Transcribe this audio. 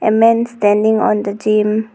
A man standing on the gym.